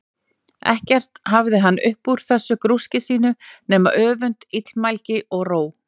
Ekkert hafði hann upp úr þessu grúski sínu nema öfund, illmælgi, og róg.